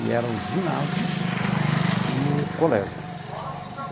E era o ginásio e o colégio.